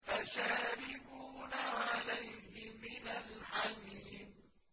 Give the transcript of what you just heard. فَشَارِبُونَ عَلَيْهِ مِنَ الْحَمِيمِ